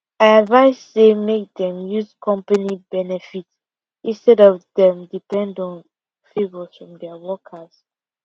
i advice say make dem use company benefit instead of dem depend on favors from dia workers